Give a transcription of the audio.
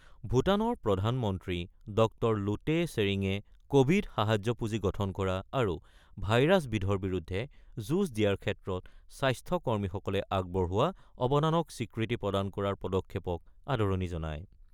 ভূটানৰ প্ৰধানমন্ত্ৰী ড লোটে শ্বেৰীঙে কোভিড সাহায্য পুঁজি গঠন কৰা আৰু ভাইৰাছবিধৰ বিৰুদ্ধে যুঁজ দিয়াৰ ক্ষেত্ৰত স্বাস্থ্যকৰ্মীসকলে আগবঢ়োৱা অৱদানক স্বীকৃতি প্ৰদান কৰাৰ পদক্ষেপক আদৰণি জনায়।